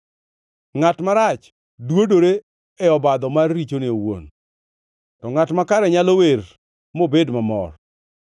Ngʼat marach dwodore e obadho mar richone owuon, to ngʼat makare nyalo wer mobed mamor.